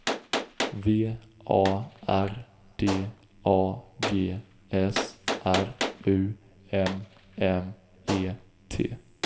V A R D A G S R U M M E T